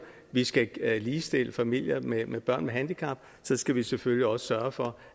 vi skal ligestille familier med børn med handicap skal vi selvfølgelig også sørge for